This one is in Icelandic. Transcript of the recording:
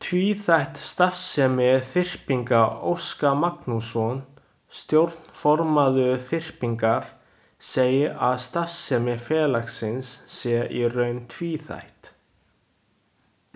Tvíþætt starfsemi Þyrpingar Óskar Magnússon, stjórnarformaður Þyrpingar, segir að starfsemi félagsins sé í raun tvíþætt.